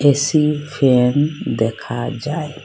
AC fan দেখা যায়।